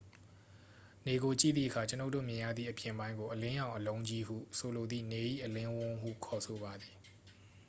"နေကိုကြည့်သည့်အခါ ကျွန်ုပ်တို့မြင်ရသည့် အပြင်ပိုင်းကို "အလင်းရောင် အလုံးကြီး" ဟုဆိုလိုသည့် နေ၏အလင်းဝန်းဟု ခေါ်ဆိုပါသည်။